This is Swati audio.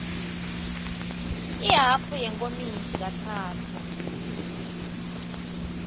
ihhafu yenkomishi katsatfu